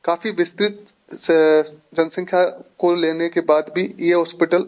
काफी विस्तृत से जनसंख्या को लेने के बाद भी ये हॉस्पिटल --